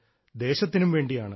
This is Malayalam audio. ദേശത്തിനു വേണ്ടിയാണ്